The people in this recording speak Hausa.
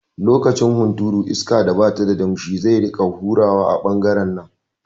Lokacin hunturu iska da bata da damshi zai rika hurawa a ɓangaren nan